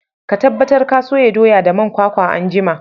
Ka tabbatar ka soya doya da man kwakwa anjima!